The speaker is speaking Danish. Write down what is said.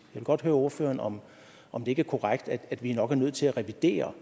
vil godt høre ordføreren om om det ikke er korrekt at vi nok er nødt til at revidere